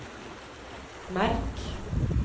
merk